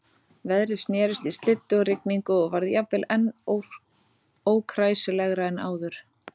Veðrið snerist í slyddu og rigningu og varð jafnvel enn ókræsilegra en áður.